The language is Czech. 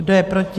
Kdo je proti?